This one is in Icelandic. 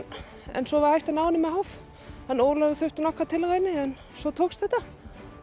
en svo var hægt að ná henni með háf Ólafur þurfti nokkrar tilraunir en svo tókst þetta